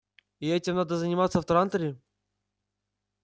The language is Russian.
и этим надо заниматься в транторе